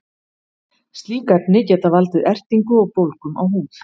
slík efni geta valdið ertingu og bólgum á húð